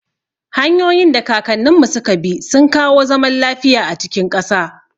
Hanyoyin da kakanninmu suka bi sun kawo zaman lafiya a cikin ƙasa.